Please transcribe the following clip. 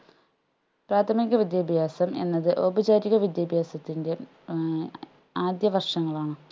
പ്രാഥമിക വിദ്യാഭ്യാസം എന്നത് ഔപചാരിക വിദ്യാഭ്യാസത്തിൻെറ ഏർ ആദ്യപക്ഷങ്ങളാണ്